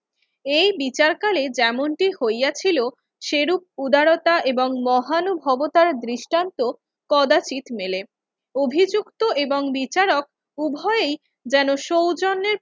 এই বিচারকালে যেমনটি হইয়াছিল সেরূপ উদারতা এবং মহানুভবতার দৃষ্টান্ত কদাচিৎ মেলে। অভিযুক্ত এবং বিচারক উভয়ই যেন সৌজন্যের